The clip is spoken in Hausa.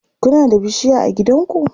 Kuna da bishiya a gidanku?